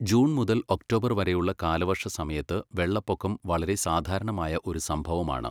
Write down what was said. June മുതൽ October വരെയുള്ള കാലവർഷ സമയത്ത് വെള്ളപ്പൊക്കം വളരെ സാധാരണമായ ഒരു സംഭവമാണ്.